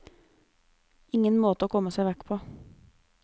Ingen måte å komme seg vekk på.